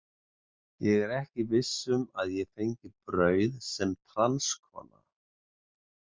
Ég er ekki viss um að ég fengi brauð sem transkona.